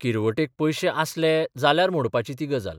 किरवटेक पयशे आसले जाल्यार मोडपाची ती गजाल.